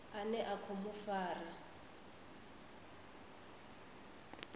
ane a khou mu fara